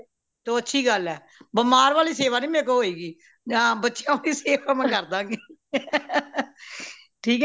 ਤੋਂ ਉਹ ਅੱਛੀ ਗੱਲ ਹੈ ਬਿਮਾਰ ਵਾਲੀ ਸੇਵਾ ਨਹੀਂ ਮੇਰੇ ਕੋਲੋਂ ਹੋਏਗੀ ਹਾਂ ਬੱਚਿਆਂ ਵਾਲੀ ਸੇਵਾ ਮੈਂ ਕਰਦਾਗੀ ਠੀਕ ਏ